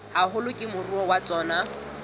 haholo ke moruo wa tsona